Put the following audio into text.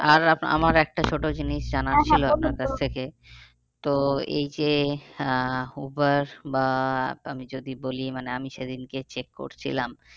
আর আমার একটা ছোটো জিনিস এই যে আহ উবার বা আমি যদি বলি মানে আমি সেদিনকে check করছিলাম